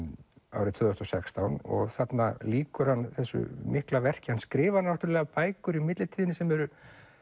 árið tvö þúsund og sextán og þarna lýkur hann þessu mikla verki hann skrifar náttúrulega bækur í millitíðinni sem eru